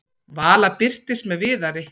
Vala birtist með Viðari.